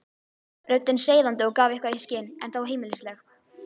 Röddin seiðandi og gaf eitthvað í skyn, en þó heimilisleg.